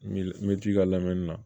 N bɛ t'i ka lamɛnni na